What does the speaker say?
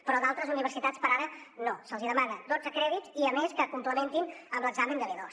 però a d’altres universitats per ara no se’ls hi demanen dotze crèdits i a més que complementin amb l’examen de b2